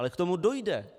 Ale k tomu dojde.